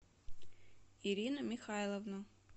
ирину михайловну